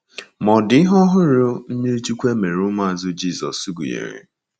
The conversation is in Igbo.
Ma ọ dị ihe ọhụrụ mmiri chukwu e mere ụmụazụ Jizọs gụnyere.